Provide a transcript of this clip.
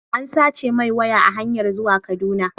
An sace mai waya a hanyar zuwa Kaduna